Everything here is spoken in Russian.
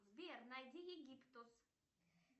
сбер найди египтус